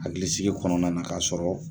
Hakilisigi kɔnɔna na k'a sɔrɔ